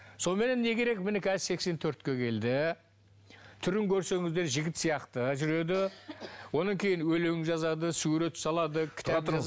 соныменен не керек міне қазір сексен төртке келді түрін көрсеңіздер жігіт сияқты жүреді одан кейін өлең жазады сурет салады кітап